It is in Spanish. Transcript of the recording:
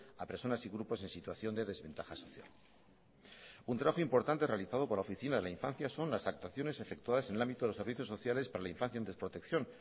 a personas y grupos en situación de desventaja social un trabajo importante realizado por la oficina de la infancia son las actuaciones efectuadas en el ámbito de los servicios sociales para la infancia en desprotección